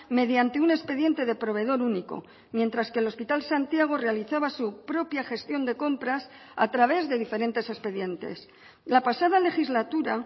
mediante un expediente de proveedor único mientras que el hospital santiago realizaba su propia gestión de compras a través de diferentes expedientes la pasada legislatura